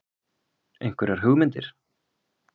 Einhverjar hugmyndir?